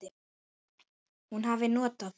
Hún hafi notað